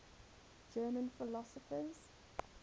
german philosophers